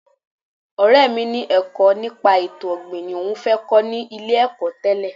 Ọ̀rẹ́ mi ni ẹ̀kọ́ nípa ètò ọ̀gbìn ni òun fẹ́ kọ́ ní ilé-ẹ̀kọ́ tẹ́lẹ̀